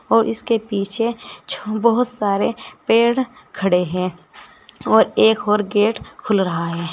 और इसके पीछे बहुत सारे पेड़ खड़े हैं और एक और गेट खुल रहा है।